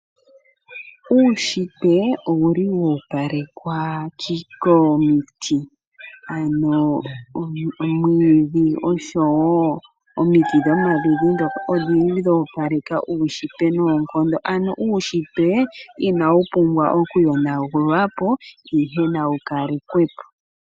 Uunshitwe owuli woopalekwa komiti, omwiidhi oshowo omiti dhomaludhi odhindji dhoopaleka uunshitwe noonkondo ano uunshitwe inawu pumbwa okuyonagulwapo ihe nawu kalekwepo.